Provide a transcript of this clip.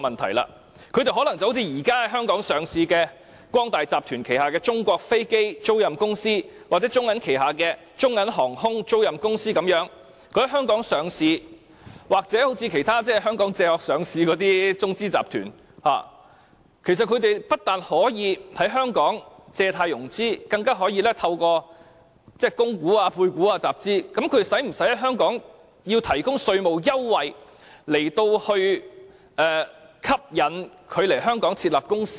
他們可能像現時在香港上市的中國光大集團旗下的中國飛機租賃集團控股有限公司，或中國銀行旗下的中銀航空租賃有限公司，在香港上市或好像其他在香港"借殼"上市的中資集團，不單可以在香港借貸融資，更可以透過供股、配股集資，我們是否需要提供稅務優惠來吸引他們來港設立公司呢？